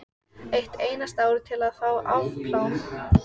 Fyrir þessu hafði hún alltaf mjög sterka tilfinningu.